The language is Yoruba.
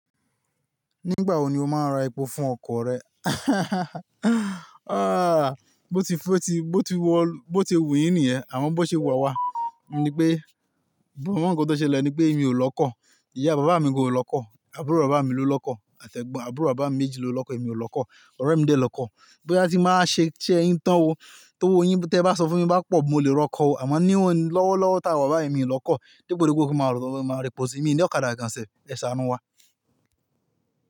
Nígbà wo ni o máa ń ra epo fún ọkọ̀ rẹ? Ah, bó ti, bó ti, bó ti wù yín nìyẹn, àmọ́ bó ṣe wu awá. Ni pé, ohun kan tó ṣe ọ ni pé èmi ò lọ kọ́, ìyá bàbá mi kò lọ kọ́, àbúrò bàbá mi ló lọ kọ́, àti ẹgbọn àbúrò bàbá mi méjì ló lọ kọ́, èmi ò lọ kọ́, ọ̀rẹ́ mi dé lọ kọ́. Boya ti mba wa ṣé ise yín tán o, ti owò yín tí ẹ bá sọ fún mi bá pọ̀, mo lè lọ kọ́ o. Àmọ́ ní òun lọ́wọ́lọ́wọ́ táwọn bàbá mi ò lọ kọ́, di gbogbo gbogbo kí ó máa lọ máa ra epo síbi mi ní ọ̀kadà gan sẹ̀, ẹ ṣàánú wá.